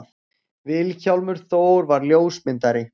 Vilhjálmur Þór var ljósmyndari.